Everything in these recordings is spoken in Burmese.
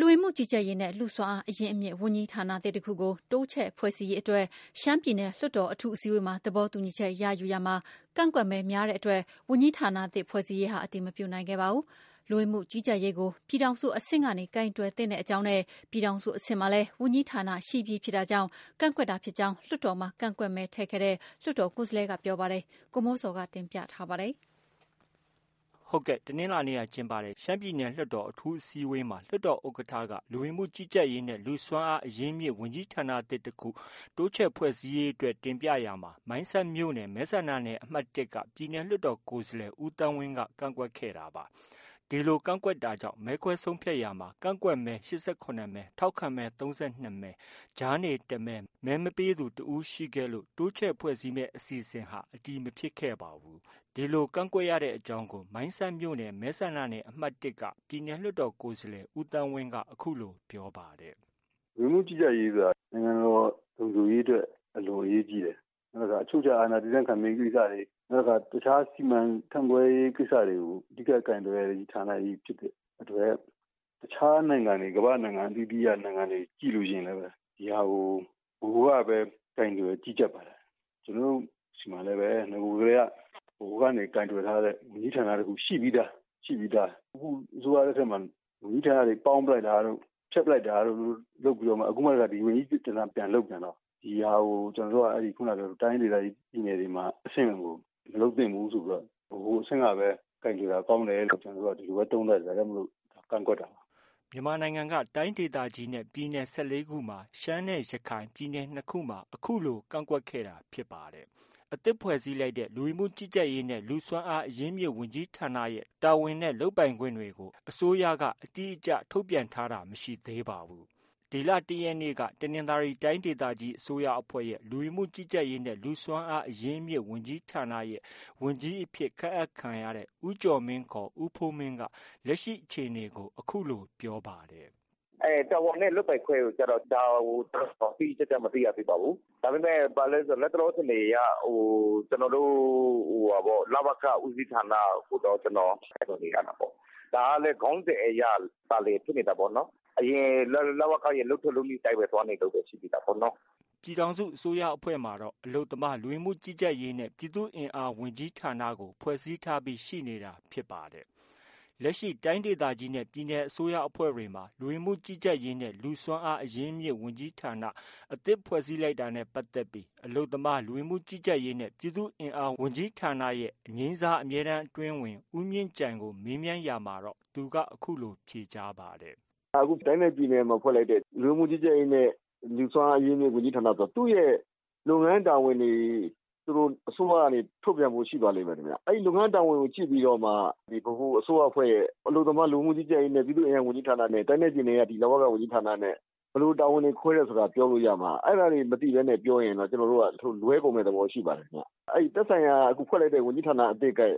လူဝင်မှုကြီးကြပ်ရေးနဲ့ လူ့စွမ်းအားအရင်းအမြစ်ဝန်ကြီးဌာနသစ်တစ်ခု တိုးချဲ့ဖွဲ့စည်းရေးအတွက် ရှမ်းပြည်နယ် လွှတ်တော် အထူးအစည်းအဝေးမှာ သဘောတူညီချက်ရယူရာမှာ ကန့်ကွက်မဲများတဲ့အတွက် ဝန်ကြီးဌာနအသစ် ဖွဲ့စည်းရေးဟာ အတည်မပြုနိုင်ခဲ့ပါဘူး။ လူဝင်မှုကြီးကြပ်ရေးကို ပြည်ထောင်စုအဆင့်ကနေ ကိုင်တွယ်သင့်တဲ့အကြောင်းနဲ့၊ ပြည်ထောင်စုအဆင့်မှာလည်း ဝန်ကြီးဌာနရှိပြီးဖြစ်တာကြောင့် ကန့်ကွက်တာဖြစ်ကြောင်း လွှတ်တော်မှာ ကန့်ကွက်ခဲ့တဲ့ လွှတ်တော်ကိုယ်စားလှယ်ကပြောပါတယ်။ ဒီသတင်းကိုတော့ ဗွီအိုအေမြန်မာပိုင်းရဲ့ သတင်းထောက် ကိုမိုးဇော်က တင်ပြထားပါတယ်။ တနင်္လာနေ့က ကျင်းပတဲ့ ရှမ်းပြည်နယ်လွှတ်တော် အထူးအစည်းအဝေးမှာ လွှတ်တော်ဥက္ကဌက လူဝင်မှုကြီးကြပ်ရေးနဲ့ လူ့စွမ်းအားအရင်းအမြစ်ဝန်ကြီးဌာနသစ်တစ်ခု တိုးချဲ့ဖွဲ့စည်းရေးအတွက် တင်ပြရာမှာ မိုင်းဆတ်မြို့နယ် မဲဆန္ဒနယ်အမှတ်၁က ပြည်နယ်လွှတ်တော်ကိုယ်စားလှယ် ဦးသန်းဝင်းက ကန့်ကွက်ခဲ့တာပါ။ ဒီလို ကန့်ကွက်တာကြောင့် မဲခွဲဆုံးဖြတ်ရာမှာ ကန့်ကွက်မဲ ၈၇မဲ၊ ထောက်ခံမဲ ၃၂မဲ၊ ကြားနေ တစ်မဲ၊ မဲမပေးသူ တစ်ဦးခဲ့လို့ တိုးချဲ့ဖွဲ့စည်းမယ့် အစီအစဉ်ဟာ အတည်မဖြစ်ခဲ့ပါဘူး။ ဒီလို ကန့်ကွက်ရတဲ့အကြောင်းကို မိုင်းဆတ်မြို့နယ် မဲဆန္ဒနယ်အမှတ်၁က ပြည်နယ်လွှတ်တော်ကိုယ်စားလှယ် ဦးသန်းဝင်းက အခုလို ပြောပါတယ်။ “ လူဝင်မှုကြီးကြပ်ရေးဆိုတာ နိုင်ငံတော်လုံခြုံရေးအတွက် အလွန်အရေးကြီးတယ်။ နောက်တစ်ခါ အချုပ်အခြာအာဏာတည်တံခိုင်မြဲရေးကိစ္စတွေ၊ နောက်တစ်ခါ တစ်ခြားစီမံခန့်ခွဲရေးကိစ္စတွေကို အဓိက ကိုင်တွယ်ရတဲ့ ဌာနကြီးဖြစ်တဲ့အတွက် တစ်ခြားနိုင်ငံတွေ ကမ္ဘာ့နိုင်ငံအသီးသီးကို ကြည့်လို့ရှိရင်လည်း ဒီဟာကို ဗဟိုကပဲ ကိုင်တွယ်ကြီးကြပ်ပါတယ်။ ကျနော်တို့ ဆီမှာလည်းပဲ နဂိုတည်းက ဗဟိုကပဲ ကိုင်တွယ်ထားတဲ့ ဝန်ကြီးဌာနတစ်ခုရှိပြီးသား။ အခုအစိုးရလက်ထက်မှာ ဝန်ကြီးဌာနတွေ ပေါင်းလိုက်တာတို့၊ ဖျက်ပစ်လိုက်တာတို့ လုပ်ပြီးတော့မှ အခု ဒီဝန်ကြီးဌာနကို ပြန်လုပ်ပြန်တော့ ဒီဟာကို ကျနော်တို့က တိုင်းဒေသကြီး ပြည်နယ်အဆင့်ကို မလုပ်သင့်ဘူးဆိုပြီးတော့ ဗဟိုကပဲ ကိုင်တွယ်တာ ကောင်းတယ်ဆိုပြီးတော့ ကျနော်တို့က သုံးသပ်ပြီးတော့ ကန့်ကွက်တာပါ။” မြန်မာနိုင်ငံက တိုင်းဒေသကြီးနဲ့ ပြည်နယ် ၁၄ခုမှာ ရှမ်းနဲ့ ရခိုင် ပြည်နယ်နှစ်ခုမှာ အခုလို ကန့်ကွက်ခဲ့ တာဖြစ်ပါတယ်။ အသစ်ဖွဲ့စည်းလိုက်တဲ့ လူဝင်မှုကြီးကြပ်ရေးနဲ့ လူ့စွမ်းအားအရင်းအမြစ်ဝန်ကြီးဌာနရဲ့ တာဝန်နဲ့ လုပ်ပိုင်ခွင့်နဲ့ပတ်သက်ပြီး အစိုးရက အတိအကျ ထုတ်ပြန်ထားတာလည်း မရှိသေးပါဘူး။ ဒီလ ၁ရက်နေ့က တနင်္သာရီတိုင်းဒေသကြီး အစိုးရအဖွဲ့ရဲ့ လူဝင်မှုကြီးကြပ်ရေးနဲ့ လူ့စွမ်းအားအရင်းအမြစ် ဝန်ကြီးဌာန ဝန်ကြီးအဖြစ် ခန့်အပ်ခံရတဲ့ ဦးကျော်မင်း ခေါ် ဦးဖိုးမင်းက လက်ရှိ အခြေအနေကို အခုလို ပြောပါတယ်။ “ တာဝန်နဲ့ လုပ်ပိုင်ခွင့်ကျတော့ ဒါကိုကျ တိတိကျကျ မသိရသေးပါဘူး။ ဒါပေမဲ့ လတ်တလောအခြေအနေအရ လဝက ဦးစီးဌာန ကိုတော့ ကျနော် ကိုင်တွယ်နေရတာပေါ့။ ဒါကလည်း ခေါင်းစဉ်အရသာလျှင်ဖြစ်နေတာ ပေါ့နော်။ အရင် လဝက ရဲ့ လုပ်ထုံးလုပ်နည်းအတိုင်းပဲ သွားနေတာပဲ ရှိသေးတာပေါ့နော။ ” ပြည်ထောင်စုအစိုးရအဖွဲ့မှာတော့ အလုပ်သမား၊ လူဝင်မှုကြီးကြပ်ရေးနဲ့ ပြည်သူ့အင်အားဝန်ကြီးဌာနကို ဖွဲ့စည်းထားပြီး ရှိနေတာဖြစ်ပါတယ်။ လက်ရှိ တိုင်းဒေသကြီးနဲ့ ပြည်နယ် အစိုးရအဖွဲ့တွေမှာ လူဝင်မှုကြီးကြပ်ရေးနဲ့ လူ့စွမ်းအားအရင်းအမြစ်ဝန်ကြီးဌာန အသစ်ဖွဲ့စည်းလိုက်တာနဲ့ပတ်သက်ပြီးအလုပ်သမား၊ လူဝင်မှုကြီးကြပ်ရေးနဲ့ ပြည်သူ့အင်အားဝန်ကြီးဌာနရဲ့ အငြိမ်းစား အမြဲတမ်းအတွင်းဝန် ဦးမြင့်ကြိုင်ကို မေးမြန်းရာမှာတော့ အခုလို ပြန်လည်ဖြေကြားပါတယ်။ “ အခုတိုင်းနဲ့ပြည်နယ်မှာ ဖွဲ့လိုက်တဲ့ လူဝင်မှုကြီးကြပ်ရေးနဲ့ လူ့စွမ်းအားအရင်းအမြစ်ဝန်ကြီးဌာနဆိုတာ သူ့ရဲ့ လုပ်ငန်းတာဝန်တွေ အစိုးရက ထုတ်ပြန်ဖို့ ရှိပါလိမ့်မယ်ခင်ဗျ။ အဲဒီလုပ်ငန်းတာဝန်တွေကို ကြည့်ပြီးတော့မှ ဗဟိုအစိုးရအဖွဲ့ရဲ့ အလုပ်သမား၊ လူဝင်မှုကြီးကြပ်ရေးနဲ့ ပြည်သူ့အင်အားဝန်ကြီးဌာနနဲ့ တိုင်းနဲ့ပြည်နယ် က ဒီ လဝက ဝန်ကြီးဌာနနဲ့ ဘယ်လို တာဝန်တွေ ခွဲတယ်ဆိုတာ ပြောလို့ ရမှာ အဲဒါတွေ မသိဘဲနဲ့ ပြောရင်တော့ ကျနော်တို့က လွဲကုန်မယ့် သဘောတွေ ရှိပါတယ်။ အခု အသစ်ဖွဲ့လိုက်တဲ့ သက်ဆိုင်ရာ ဝန်ကြီးဌာနရဲ့ သူ့ရဲ့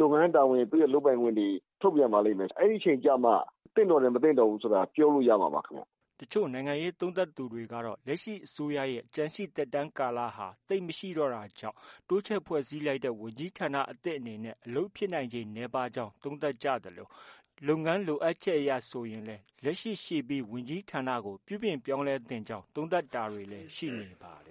လုပ်ငန်းတာဝန်၊ သူ့ရဲ့ လုပ်ပိုင်ခွင့်တွေ ထုတ်ပြန်ပါလိမ့်မယ်။ အဲဒီအချိန်ကျမှ သင့်တော်တယ်။ မသင့်တော်ဘူးဆိုတာ ပြောလို့ ရမှာပါ ခင်ဗျ။” တချို့ နိုင်ငံရေးသုံးသပ်သူတွေကတော့ လက်ရှိ အစိုးရရဲ့ ကျန်ရှိ သက်တမ်းကာလဟာ သိပ်မရှိတော့တာကြောင့် တိုးချဲ့ ဖွဲ့စည်းလိုက်တဲ့ ဝန်ကြီးဌာနအသစ်အနေနဲ့ အလုပ်ဖြစ်နိုင်ချေ နည်းပါးကြောင်း သုံးသပ်ကြသလို လုပ်ငန်းလိုအပ်ချက်အရဆိုရင်လည်း လက်ရှိ ရှိပြီး ဝန်ကြီးဌာနကို ပြုပြင်ပြောင်းလဲသင့်ကြောင်း သုံးသပ်တာတွေလည်း ရှိနေပါတယ်